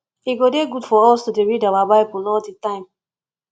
e go dey good for us to dey read our bible all the time